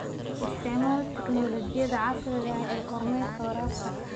Isticmaal tignoolajiyada casriga ah ee kormeerka waraabka.